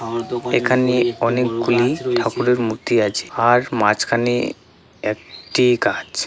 এখানে অনেকগুলি ঠাকুরের মূর্তি আছে। আর মাঝখানে একটি গাছ ।